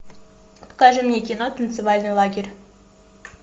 покажи мне кино танцевальный лагерь